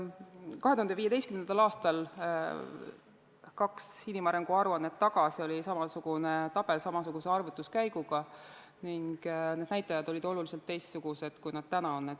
2015. aastal, kaks inimarengu aruannet tagasi, oli samasugune tabel samasuguse arvutuskäiguga ning need näitajad olid oluliselt teistsugused, kui nad täna on.